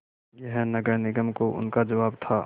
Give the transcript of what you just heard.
यह नगर निगम को उनका जवाब था